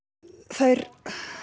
þær